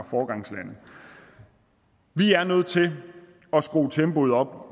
foregangsland vi er nødt til at skrue tempoet op